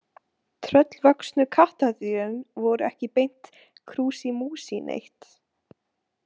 Tröllvöxnu kattardýrin voru ekki beint krúsí músí neitt.